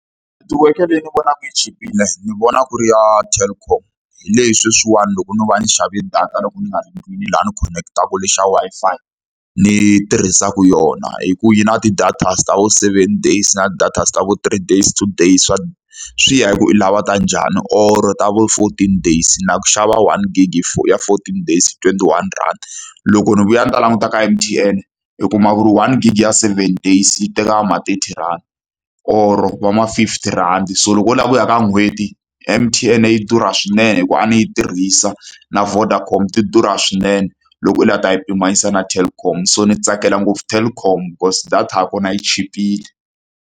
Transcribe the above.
Netiweke leyi ni vonaka yi chipile ni vona ku ri ya Telkom. Hi leyi leswiwani loko ndzo va ndzi xave data, loko ni nga ri ndlwini laha ni khonekitaku lexi xa Wi-Fi ni tirhisaka yona. Hikuva yi na ti-data ta vo seven days na ti-data vo three days, two days, swi ya hi ku u lava ta njhani. Or-o ta vo fourteen days. Na ku xava one gig hi ya fourteen days twenty-one rhandi. Loko ni vuya ni ta languta ka M_T_N ni kuma ku ri one gig ya seven days yi teka vo ma thirty rand, or-o va ma fifty rhandi. So loko u lava ku ya ka n'hweti M_T_N yi durha swinene hikuva a ni yi tirhisa, na Vodacom ti durha swinene loko u lava ku ta yi pimanisa na Telkom. So ni tsakela ngopfu Telkom because data ya kona yi chipile.